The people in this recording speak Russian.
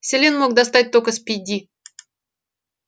селен мог достать только спиди